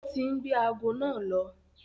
Ó ti ń gbé ago náà lọ.